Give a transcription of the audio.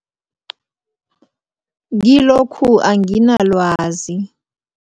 Kilokhu anginalwazi.